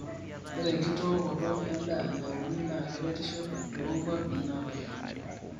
ore enkitookoto en'daa nauni naa keretisho too nkwapi naatoyio